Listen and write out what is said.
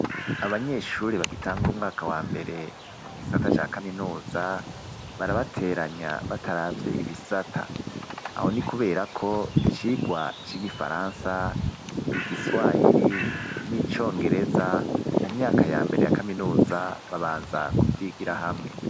Abanyeshuri bagitangura umwaka wa mbere mu gisata ca kaminuza barabateranya bataravye ibisata. Aho ni kubera ko icirwa c'igifaransa, igiswahiri, n'icongereza mu myaka ya mbere ya kaminuza babanza kufitigira hamwe.